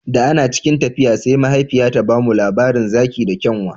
Da ana cikin tafiya sai mahaifiyata ta ba mu labarin zaki da kyanwa